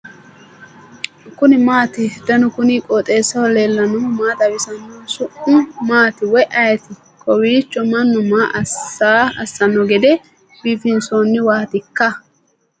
kuni maati ? danu kuni qooxeessaho leellannohu maa xawisanno su'mu maati woy ayeti ? kowiicho mannu maa assno gede biifinsoonniwwatikka